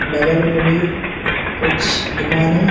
बगल में भी कुछ दुकान है।